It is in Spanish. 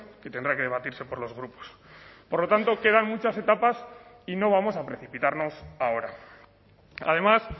que tendrá que debatirse por los grupos por lo tanto quedan muchas etapas y no vamos a precipitarnos ahora además